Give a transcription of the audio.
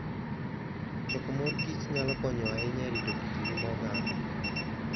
Choko mor kich nyalo konyo ahinya e rito kit ngima oganda.